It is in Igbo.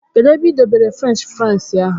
Kedụ ebe i dọbere fruench frais ahụ?